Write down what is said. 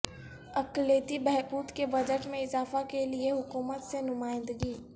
اقلیتی بہبود کے بجٹ میں اضافہ کیلئے حکومت سے نمائندگی